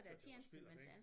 Hørte det var spild af penge